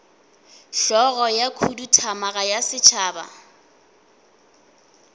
hlogo ya khuduthamaga ya setšhaba